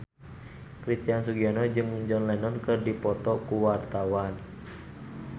Christian Sugiono jeung John Lennon keur dipoto ku wartawan